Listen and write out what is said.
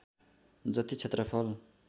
जति क्षेत्रफल